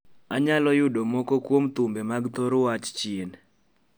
Anyalo yudo mok kuom thumbe mag thor wach chien